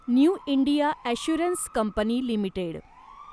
new India assurance company limited